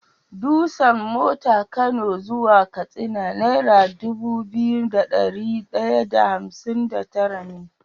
Dusan mota kano zuwa katsina naira Dubu biyu da dari daya da hamsin da tara ne